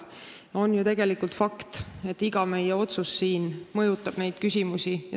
See on ju tegelikult fakt, et iga meie otsus siin mõjutab neid küsimusi.